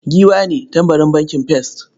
Giwa ne tambarin bankin first.